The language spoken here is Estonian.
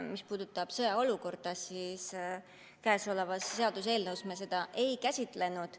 Mis puudutab sõjaseisukorda, siis selle seaduseelnõuga seoses me seda ei käsitlenud.